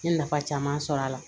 N ye nafa caman sɔr'a la